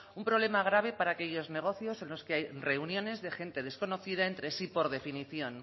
un problema grave para que aquellos negocios en los que hay reuniones de gente desconocida entre sí por definición